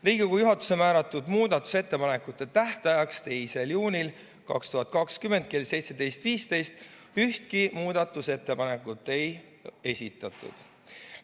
Riigikogu juhatuse määratud muudatusettepanekute tähtajaks, 2. juuniks 2020 kella 17.15-ks ühtki muudatusettepanekut ei esitatud.